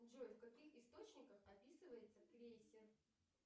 джой в каких источниках описывается крейсер